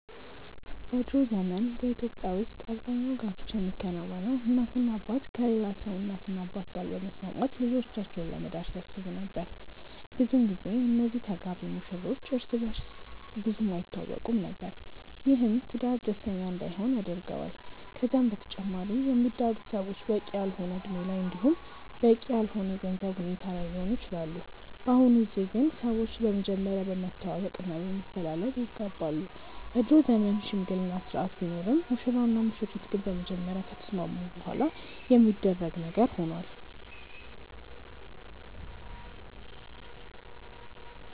በ ድሮ ዘመን በኢትዮጵያ ውስጥ አብዛኛው ጋብቻ የሚከናወነው እናትና አባት ከሌላ ሰው እናትና አባት ጋር በመስማማት ልጆቻቸውን ለመዳር ሲያስቡ ነበር። ብዙን ጊዜ እነዚህ ተጋቢ ሙሽሮች እርስ በእርስ ብዙም አይተዋወቁም ነበር። ይህም ትዳር ደስተኛ እንዳይሆን ያደርገዋል። ከዛም በተጨማሪ የሚዳሩት ሰዎች በቂ ያልሆነ እድሜ ላይ እንዲሁም በቂ ያልሆነ የገንዘብ ሁኔታ ላይ ሊሆኑ ይችላሉ። በአሁኑ ጊዜ ግን ሰዎች በመጀመሪያ በመተዋወቅ እና በመፈላለግ ይጋባሉ። የድሮ ዘመን የሽምግልና ስርአት ቢኖርም ሙሽራው እና ሙሽሪት ግን በመጀመሪያ ከተስማሙ በኋላ የሚደረግ ነገር ሆኗል።